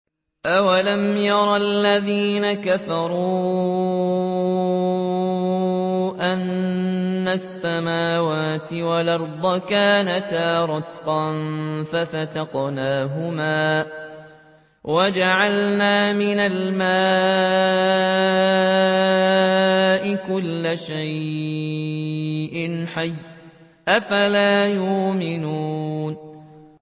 أَوَلَمْ يَرَ الَّذِينَ كَفَرُوا أَنَّ السَّمَاوَاتِ وَالْأَرْضَ كَانَتَا رَتْقًا فَفَتَقْنَاهُمَا ۖ وَجَعَلْنَا مِنَ الْمَاءِ كُلَّ شَيْءٍ حَيٍّ ۖ أَفَلَا يُؤْمِنُونَ